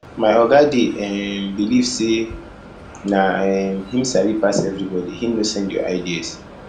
my oga dey um beliv sey na um him sabi pass everybodi him no send your ideas